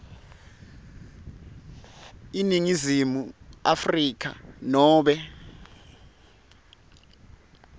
eningizimu afrika nobe